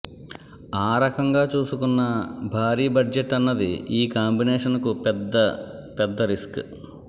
ఆ రకంగా చూసుకున్నా భారీ బడ్జెట్ అన్నది ఈ కాంబినేషన్ కు పెద్ద పెద్ద రిస్క్